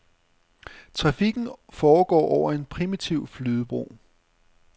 Trafikken foregår over en primitiv flydebro.